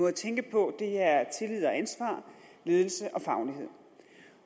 at tænke på er tillid og ansvar ledelse